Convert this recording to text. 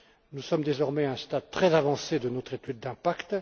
Nous sommes désormais à un stade très avancé de notre étude d'impact.